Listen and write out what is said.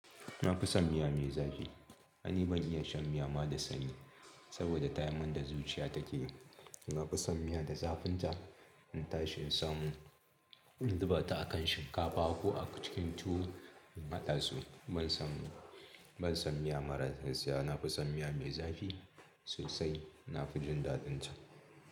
Nafison miya mai zafi. Ni ban iya shan miya ma da sanyi saboda tayar min da zuciya take. Na fi son miya da zafinta. In ta shi insamu, in zuba ta akan shinkafa ko a cikin tuwo in hada su. Ban son, ban son miya maras zafi. Na fi son miya mai zafi sosai. Na fi jin daɗinta.